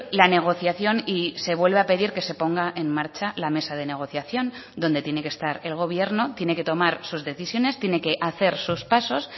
la negociación y se vuelve a pedir que se ponga en marcha la mesa de negociación donde tiene que estar el gobierno tiene que tomar sus decisiones tiene que hacer sus pasos